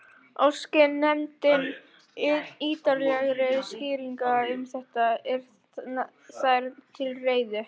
Óski nefndin ýtarlegri skýringa um þetta, eru þær til reiðu.